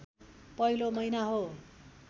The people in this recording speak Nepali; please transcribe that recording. पहिलो महिना हो